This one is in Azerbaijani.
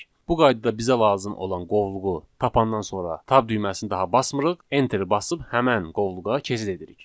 Bu qaydada bizə lazım olan qovluğu tapandan sonra tab düyməsini daha basmırıq, enteri basıb həmən qovluğa keçid edirik.